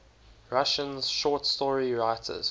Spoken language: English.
russian short story writers